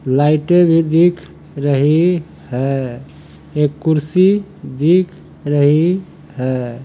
लाइटे भी दिख रही है एक कुर्सी दिख रही है।